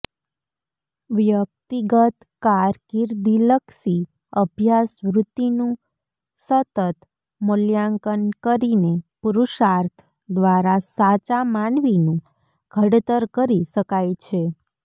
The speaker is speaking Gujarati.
વ્યક્તિગત કારકિર્દીલક્ષી અભ્યાસવૃત્તિનું સતત મૂલ્યાંકન કરીને પુરૃષાર્થ દ્વારા સાચા માનવીનું ઘડતર કરી શકાય છે